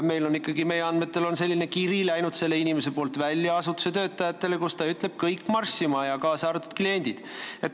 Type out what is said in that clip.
Meie andmetel on see inimene oma asutuse töötajatele saatnud kirja, kus ta ütles: "Kõik marssima, kaasa arvatud kliendid.